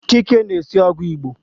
Chike na-esi ogwu Igbo